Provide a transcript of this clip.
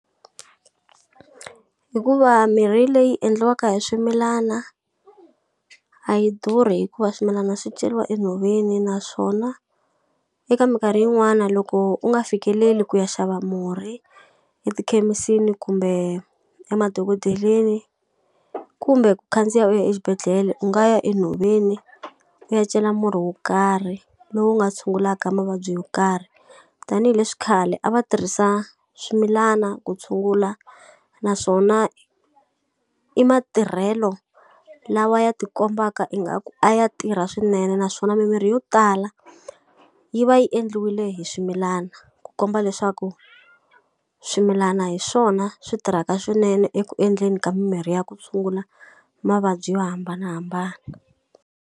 Hikuva mirhi leyi endliwaka hi swimilana, a yi durhi hikuva swimilana swi ceriwa enhoveni naswona eka minkarhi yin'wani loko u nga fikeleli ku ya xava murhi etikhemisini, kumbe emadokodeleni, kumbe ku khandziya u ya exibedhlele, u nga ya enhoveni u ya cela murhi wo karhi lowu nga tshungulaka mavabyi yo karhi. Tanihi leswi khale a va tirhisa swimilana ku tshungula naswona i matirhelo lawa ya ti kombaka ingaku a ya tirha swinene naswona mimirhi yo tala yi va yi endliwile hi swimilana, ku komba leswaku swimilana hi swona swi tirhaka swinene eku endleni ka mimirhi ya ku tshungula mavabyi yo hambanahambana.